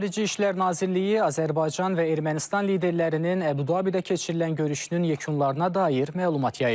Xarici İşlər Nazirliyi Azərbaycan və Ermənistan liderlərinin Əbu-Dabidə keçirilən görüşünün yekunlarına dair məlumat yayıb.